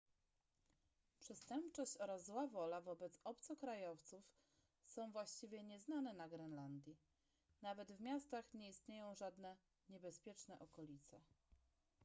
przestępczość oraz zła wola wobec obcokrajowców są właściwie nieznane na grenlandii nawet w miastach nie istnieją żadne niebezpieczne okolice